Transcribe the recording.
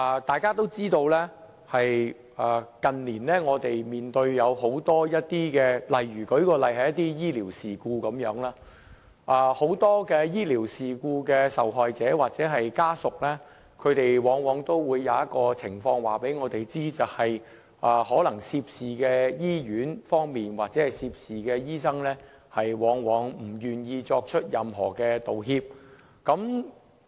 大家也知道，我們近年面對很多情況，舉例來說，在醫療事故方面，很多醫療事故的受害者或家屬往往都會告知我們一種情況，就是可能涉事的醫院或醫生，往往不願意作出任何道歉。